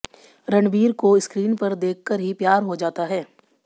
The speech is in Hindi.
रणबीर को स्क्रीन पर देखकर ही प्यार हो जाता है